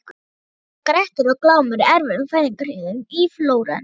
Nú eru Grettir og Glámur í erfiðum fæðingarhríðum í Flórens.